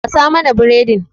Gasa mana biredin!